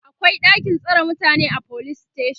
akwai ɗakin tsare mutane a police station